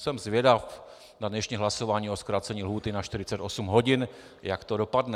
Jsem zvědav na dnešní hlasování o zkrácení lhůty na 48 hodin, jak to dopadne.